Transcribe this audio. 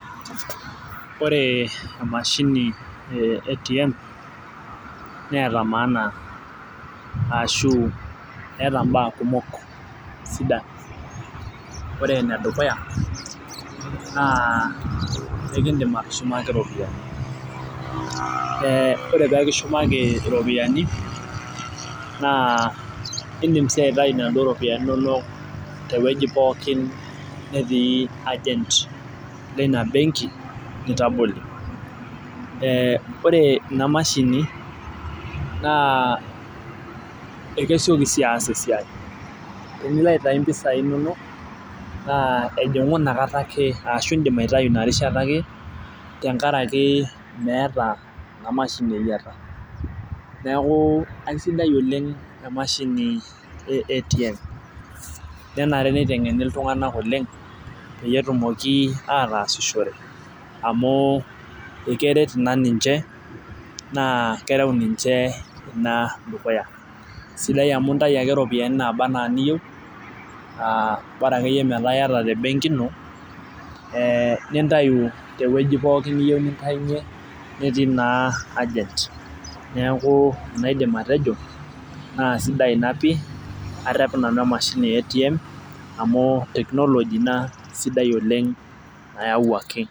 Ore mashinini e atm neeta maanan ashuvetaa mbaa kumok sidan ore en dukuya ekindim atushumaki ropiyani tenikishumaki ropiyani na indim ake aitu nona ropiyani tewueji pookin natii agent ore pilo inabenki nitabolie, ore inamashini na kesieki sii aas esiai tenilo aitau mpisai inonok ejingu inakata ake ashuindik aitau inarishata wke tenkaraki meeta eyiata neaku kesidai oleng emashini e atm nenare pitemgeni ltunganak oleng petumoki ataasishore na keret ina ninche na dukuya sidaia akeyie amu intau ake ropiyanu naba ana niyou nintau e nintau tewoi pooli niyieu natii na egent na sidia ina pii ata inamashini e ATM na technology sidai nayawuaki.